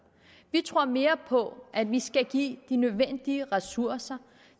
vi tror mere på at vi skal give de nødvendige ressourcer